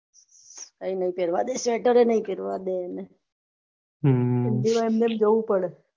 કઈ નાઈ પેરવા દે સ્વેટર નાઈ પેરવા દે એને હ એમ નેમ જવું પડ.